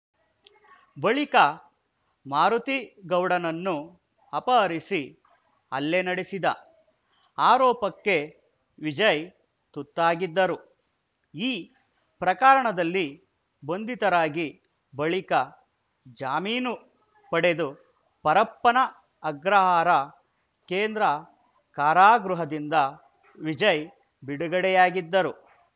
ಬಳಿಕ ಮಾರುತಿಗೌಡನನ್ನು ಅಪಹರಿಸಿ ಹಲ್ಲೆ ನಡೆಸಿದ ಆರೋಪಕ್ಕೆ ವಿಜಯ್‌ ತುತ್ತಾಗಿದ್ದರು ಈ ಪ್ರಕರಣದಲ್ಲಿ ಬಂಧಿತರಾಗಿ ಬಳಿಕ ಜಾಮೀನು ಪಡೆದು ಪರಪ್ಪನ ಅಗ್ರಹಾರ ಕೇಂದ್ರ ಕಾರಾಗೃಹದಿಂದ ವಿಜಯ್‌ ಬಿಡುಗಡೆಯಾಗಿದ್ದರು